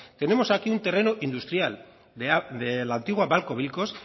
tenemos aquí un terreno industrial de la antigua babcock wilcox